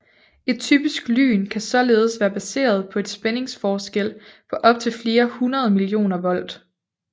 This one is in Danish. Et typisk lyn kan således være baseret på en spændingsforskel på op til flere hundrede millioner volt